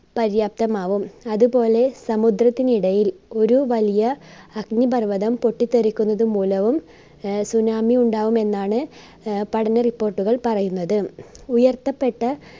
പര്യാപ്തമാകും അതുപോലെ സമുദ്രത്തിനിടയിൽ ഒരു വലിയ അഗ്നിപർവതം പൊട്ടിത്തെറിക്കുന്നത് മൂലവും ആഹ് tsunami ഉണ്ടാകുമെന്നാണ് ആഹ് പഠന റിപോർട്ടുകൾ പറയുന്നത്. ഉയർത്തപ്പെട്ട